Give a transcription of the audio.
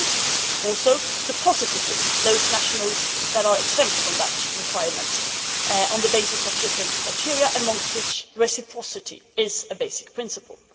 There is also the positive list those nationals who are exempt from that requirement on the basis of different criteria, amongst which reciprocity is a basic principle.